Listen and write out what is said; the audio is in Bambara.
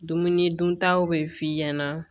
Dumuni duntaw bɛ f'i ɲɛna